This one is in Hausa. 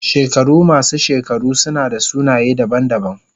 Shekaru masu shekaru suna da sunaye daban-daban.